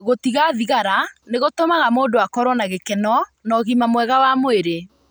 Gũtiga thigara nĩ gũtũmaga mũndũ akorũo na gĩkeno na ũgima mwega wa mwĩrĩ.